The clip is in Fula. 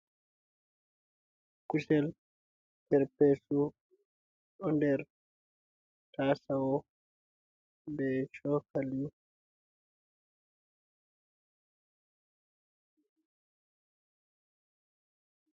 Kusel perpesu ɗo nder tasawo be cokali.